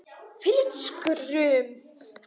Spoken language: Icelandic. Hvílíkt skrum!